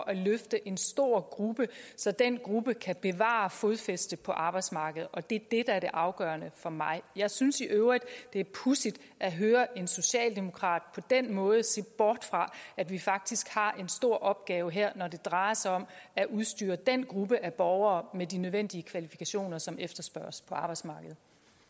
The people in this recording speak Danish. at løfte en stor gruppe så den gruppe kan bevare fodfæste på arbejdsmarkedet og det er det der er det afgørende for mig jeg synes i øvrigt det er pudsigt at høre en socialdemokrat på den måde se bort fra at vi faktisk har en stor opgave her når det drejer sig om at udstyre den gruppe af borgere med de nødvendige kvalifikationer som efterspørges på arbejdsmarkedet